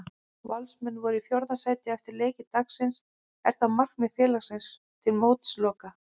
Valsmenn eru í fjórða sæti eftir leiki dagsins, er það markmið félagsins til mótsloka?